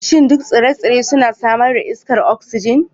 Shin duk tsire-tsire suna samar da iskar oxygen?